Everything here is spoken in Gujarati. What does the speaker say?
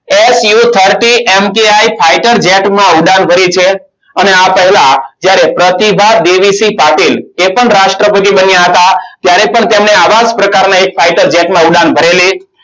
શું thirty mki fighter jet માં ઉડાન ભરી છે. અને આ પહેલા જ્યારે પ્રતિભા દેવીસિંહ પાટીલ એ પણ રાષ્ટ્રપતિ બન્યા હતા. ત્યારે પણ તેમણે આવા જ પ્રકારના એક fighter jet માં ઉડાન ભરેલી.